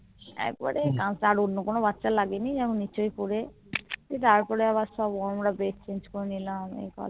একবারে অন্য কোনো বাচ্চার লাগেনি একবারে নিচে পরে তারপরে আমরা সবা bed change করেনিলাম